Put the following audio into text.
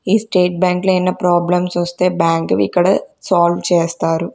ఈ స్టేట్ బ్యాంక్లో ఏన్న ప్రాబ్లమ్స్ వస్తే బ్యాంకువి ఇక్కడ సాల్వ్ చేస్తారు.